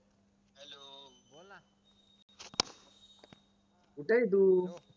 कुठंय तू